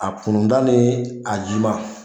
A kunnun da ni a ji ma